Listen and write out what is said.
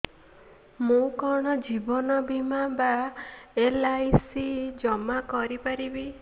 ମୁ କଣ ଜୀବନ ବୀମା ବା ଏଲ୍.ଆଇ.ସି ଜମା କରି ପାରିବି